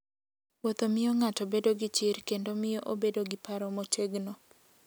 Wuotho miyo ng'ato bedo gi chir kendo miyo obedo gi paro motegno.